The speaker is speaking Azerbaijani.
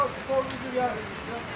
Aaa skor gəlmişdi.